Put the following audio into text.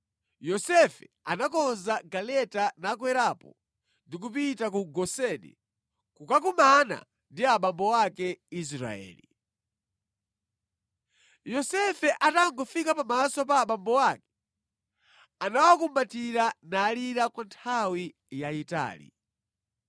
Yosefe anakonza galeta nakwerapo ndi kupita ku Goseni kukakumana ndi abambo ake, Israeli. Yosefe atangofika pamaso pa abambo ake, anawakumbatira nalira kwa nthawi yayitali.